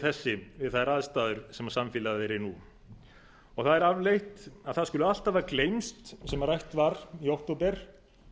þessi við þær aðstæður sem samfélagið er í nú og það er afleitt að það skuli allt hafa gleymst sem rætt var í október